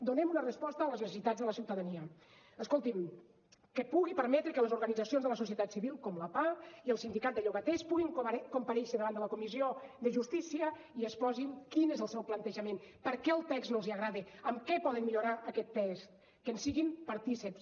donem una resposta a les necessitats de la ciutadania escoltin que pugui permetre que les organitzacions de la societat civil com la pah i el sindicat de llogaters puguin comparèixer davant de la comissió de justícia i exposin quin és el seu plantejament per què el text no els agrada en què poden millorar aquest text que en siguin partícips